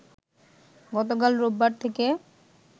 গতকাল রোববার থেকে